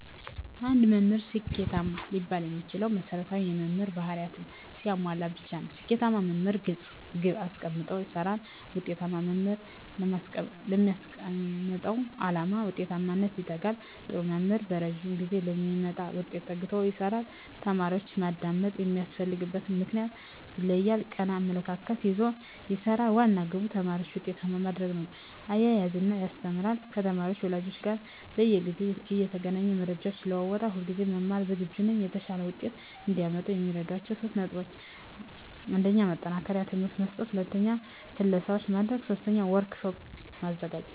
አንድ መምህር ስኬታማ ሊባል የሚችለው መሰረታዊ የመምህር በህሪያትን ሲያሟላ ብቻ ነው። ስኬታማ መምህር ግለፅ ግብ አሰቀምጦ ይሰራል፣ ውጤታማ መምህር ላስቀመጠው ዓላማ ውጤታማነት ይተጋል፣ ጥሩ መምህር በረጂም ጊዜ ለሚመጣ ውጤት ተግቶ ይሰራል፣ ተማሪዎችን ማዳመጥ የሚያስፈልግበትን ምክንያት ይለያል፣ ቀና አመለካከት ይዞ ይሰራል፤ ዋና ግቡ ተማሪዎችን ውጤታማ ማድረግ ነው፤ እያዝናና ያስተምራል፤ ከተማሪ ወላጆች ጋር በየጊዜው እየተገናኘ መረጃ ይለዋወጣል፣ ሁለጊዜ ለመማር ዝግጁ ነው። የተሻለ ውጤት እዲያመጡ የሚረዷቸው 3 ነጥቦች 1. ማጠናከሪያ ትምህርት መስጠት 2. ክለሣዎችን ማድረግ 3. ወርክ ሽት ማዘጋጀት